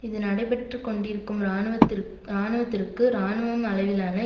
இது நடைபெற்று கொண்டிருக்கும் இராணுவத்திற்க் இராணுவத்திற்கு இராணுவம் அளவிலான